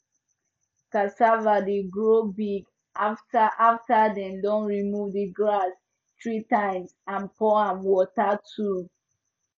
cassava dey grow big after after them don remove the grass three times and pour am water too